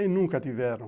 E nunca tiveram.